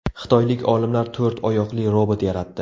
Xitoylik olimlar to‘rt oyoqli robot yaratdi.